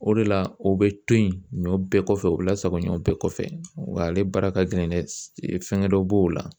O de la o bɛ to yen ɲɔ bɛɛ kɔfɛ u bi lasago ɲɔ bɛɛ kɔfɛ wa ale baara ka gɛlɛn dɛ fɛngɛ dɔ b'o la